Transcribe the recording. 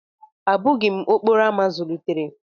Abụghị m okporo ámá zụlitere